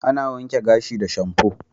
Ana wanken gashi da shamfu.